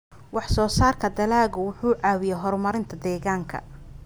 Wax-soo-saarka dalagga wuxuu caawiyaa horumarinta deegaanka.